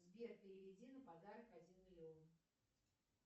сбер переведи на подарок один миллион